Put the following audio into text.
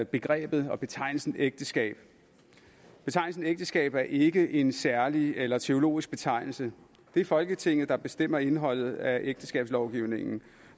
begrebet og betegnelsen ægteskab betegnelsen ægteskab er ikke en særlig eller teologisk betegnelse det er folketinget der bestemmer indholdet af ægteskabslovgivningen